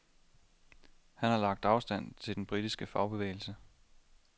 Han har lagt afstand til den britiske fagbevægelse.